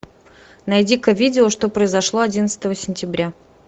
найди ка видео что произошло одиннадцатого сентября